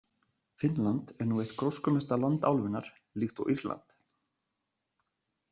Finnland er nú eitt gróskumesta land álfunnar, líkt og Írland.